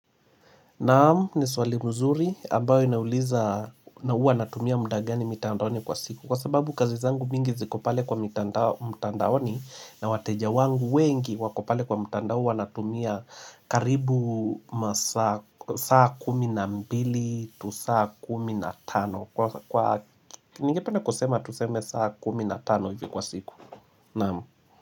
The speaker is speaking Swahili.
Naam, ni swali mzuri, ambayo inauliza na uwa natumia muda gani mitandaoni kwa siku Kwa sababu kazi zangu mingi ziko pale kwa mitandao mtandaoni na wateja wangu wengi wako pale kwa mitandao wanatumia karibu masaa saa kumi na mbili tu saa kumi na tano Kwa kwa ningependa kusema tuseme saa kumi na tano hivi kwa siku Naamu.